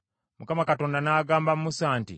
Mukama Katonda n’agamba Musa nti,